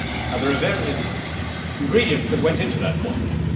There are various ingredients that went into that formula.